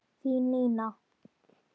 Þín Nína.